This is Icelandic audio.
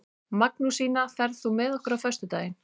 Magnúsína, ferð þú með okkur á föstudaginn?